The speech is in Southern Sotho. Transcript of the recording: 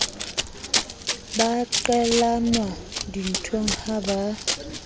ba qelelwa dinthong ha ba